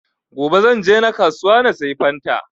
gobe zan je na kasuwa na sayi fanta